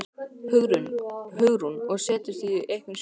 Hugrún: Og settir þú einhver skilyrði?